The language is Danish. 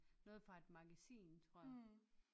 Noget fra et magasin tror jeg